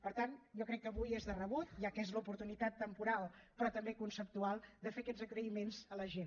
per tant jo crec que avui és de rebut ja que n’és l’oportunitat temporal però també conceptual fer aquests agraïments a la gent